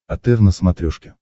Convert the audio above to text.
отр на смотрешке